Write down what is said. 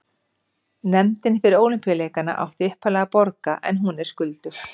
Nefndin fyrir Ólympíuleikana átti upphaflega að borga en hún er skuldug.